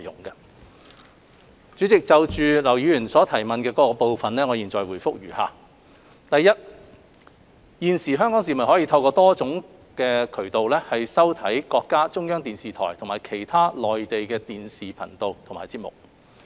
代理主席，就劉議員質詢的各個部分，我現答覆如下：一現時，香港市民可透過多種渠道收看中國中央電視台和其他內地電視頻道及節目。